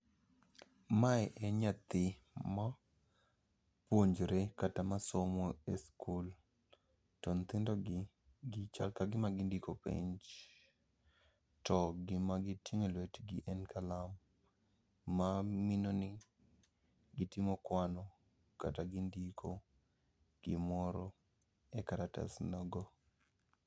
Mae en nyathi ma puonjre kata masomo e skul. To nyithindo gi, gi chal ka gima gindiko penj. To gima giting'o e lwetgi en kalam, ma mino ni gitimo kwano kata gindiko gimoro e karatasno go.